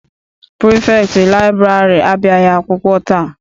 Pirifektị laịbụrarị abịaghị akwụkwọ taa.